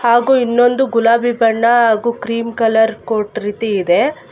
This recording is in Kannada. ಹಾಗು ಇನ್ನೊಂದು ಗುಲಾಬಿ ಬಣ್ಣ ಹಾಗೂ ಗ್ರೀನ್ ಕಲರ್ ಕೋರ್ಟ್ ರೀತಿ ಇದೆ.